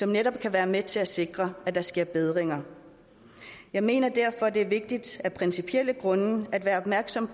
netop kan være med til at sikre at der sker bedringer jeg mener derfor at det er vigtigt af principielle grunde at være opmærksom